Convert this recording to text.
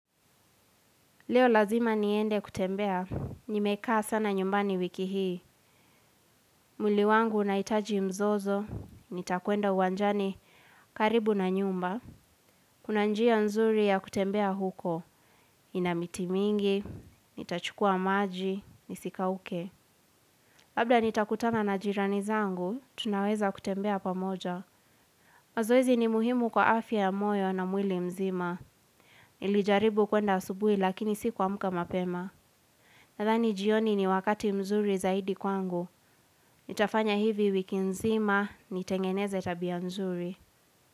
Leo lazima niende kutembea, nimekaa sana nyumbani wiki hii. Mwili wangu unahitaji mzozo, nitakwenda uwanjani karibu na nyumba. Kuna njia nzuri ya kutembea huko, ina miti mingi, nitachukua maji, nisikauke. Labda nitakutana na jirani zangu, tunaweza kutembea pamoja. Mazoezi ni muhimu kwa afya ya moyo na mwili mzima. Nilijaribu kwenda asubuhi lakini sikuamka mapema. Nadhani jioni ni wakati mzuri zaidi kwangu. Nitafanya hivi wiki nzima nitengeneze tabia mzuri.